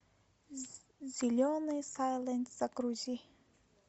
зеленый сойлент загрузи